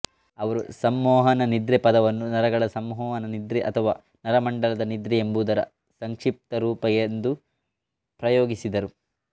ಅವರು ಸಂಮೋಹನ ನಿದ್ರೆ ಪದವನ್ನು ನರಗಳ ಸಂಮೋಹನ ನಿದ್ರೆ ಅಥವಾ ನರಮಂಡಲದ ನಿದ್ರೆ ಎಂಬುದರ ಸಂಕ್ಷಿಪ್ತ ರೂಪ ಎಂದು ಪ್ರಯೋಗಿಸಿದರು